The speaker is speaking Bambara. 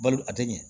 Balo a tɛ ɲɛ